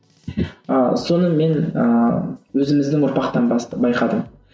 ыыы соны мен ыыы өзіміздің ұрпақтан байқадым